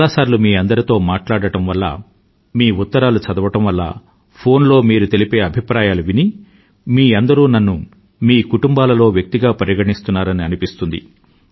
చాలాసార్లు మీ అందరితో మాట్లాడడం వల్ల మీ ఉత్తరాలు చదవడం వల్ల ఫోన్ లో మీరు తెలిపే అభిప్రాయాలను విని మీ అందరూ నన్ను మీ కుటుంబాలలో వ్యక్తిగా పరిగణిస్తున్నారని అనిపిస్తుంది